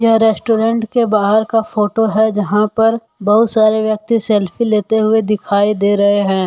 यह रेस्टोरेंट के बाहर का फोटो है जहां पर बहुत सारे व्यक्ति सेल्फी लेते हुए दिखाई दे रहे हैं।